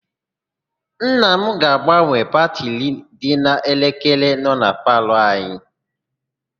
Nna m ga-agbanwe batịrị dị n'elekere nọ na palọ anyị.